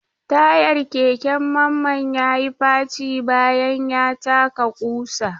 Tayar keken Mamman ya yi faci bayan ya taka kusa.